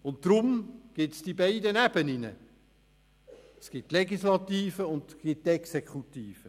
Deshalb gibt es die beiden Ebenen, die Legislative und die Exekutive.